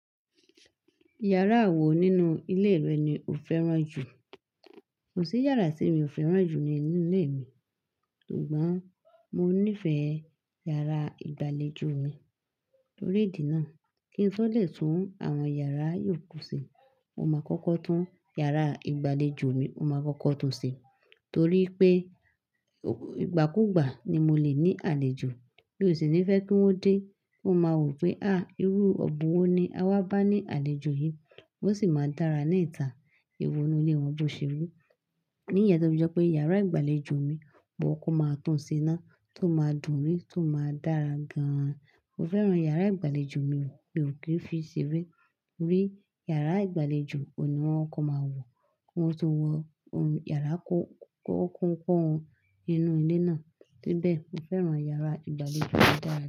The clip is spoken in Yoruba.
Yàrá wọ nínú ilé rẹ ni o fẹ́ràn jù? Kò sí yàrá tí mi ò fẹ́ràn jù nínú ilé mi, ṣùgbọ́n mo nífẹ̀ẹ́ yàrá ìgbàlejò mi. Tórí ìdí náà kí n tó lè tún àwọn yàrá yòókù ṣe, mo máa kọ́kọ́ tún yàrá ìgbàlejò mi mo máa kọ́kọ́ tún ṣe torí pé ìgbàkigbà ni mo lè ní àlejò, mi ó sì ní fẹ́ kí wọ́n dé, kiwon máa wò pé a! Irú ọ̀bùn wọ́ ni a wá bá ní àlejò yìí" ó sì máa n dára ní ìta. Ewọ inu ilé wọn bó ṣe rí. Ní ìyẹn tó fi je pé yàrá ìgbàlejò mi, mó kokò máa tún ṣe náà, tó máa dùn rí, tó máa dára gan. Mo fẹ́ràn yàrá ìgbàlejò mi, mi ò kí n fi ṣere. Rí yàrá ìgbàlejò, òhun ní wọn kòko máa wò. Ki wọn tó wọ yàrá kọ́ kọ́ kọ́ wọn inú ilé náà. Síbẹ̀ mo fẹ́ràn yàrá ìgbàlejò mi dáadáa.